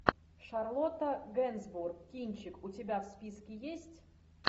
шарлотта генсбур кинчик у тебя в списке есть